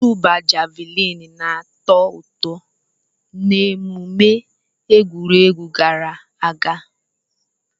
Ịtụba javuliini na-atọ ụtọ n'emume egwuregwu gara aga.